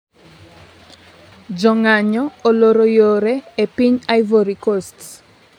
jo ng'anyo oloro yore e piny Ivory Coast